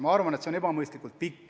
Ma arvan, et see on ebamõistlik.